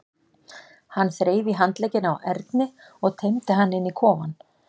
Hann þreif í handlegginn á Erni og teymdi hann inn í kofann.